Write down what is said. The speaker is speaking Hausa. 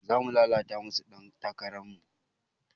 Zamu tallata masu ɗan takarar mu